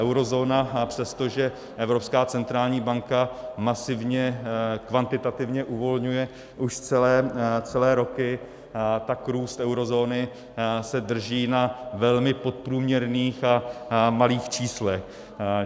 Eurozóna přesto, že Evropská centrální banka masivně kvantitativně uvolňuje už celé roky, tak růst eurozóny se drží na velmi podprůměrných a malých číslech.